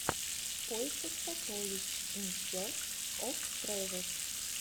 в поисках сокровищ ин серч оф трэжэс